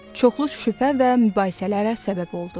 Çoxlu şübhə və mübahisələrə səbəb oldu.